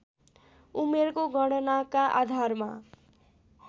उमेरको गणनाका आधारमा